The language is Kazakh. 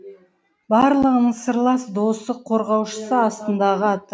барлығының сырлас досы қорғаушысы астындағы аты